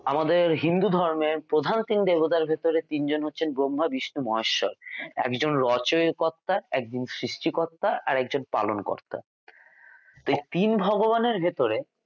আমাদের হিন্দু ধর্মের প্রধান তিন দেবতার ভেতরে তিনজন হচ্ছে ব্রহ্মা বিষ্ণু মাহেশ্বর একজন রচনার কর্তা একজন সৃষ্টিকর্তা আরেকজন পালনকর্তা এই তিন ভগবানের ভেতরে